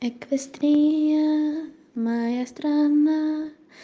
эквестрия моя страна